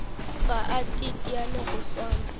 ga a teteane go swana